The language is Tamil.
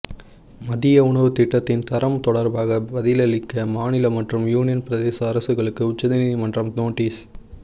மதிய உணவு திட்டத்தின் தரம் தொடர்பாக பதிலளிக்க மாநில மற்றும் யூனியன் பிரதேச அரசுகளுக்கு உச்சநீதிமன்றம் நோட்டீஸ்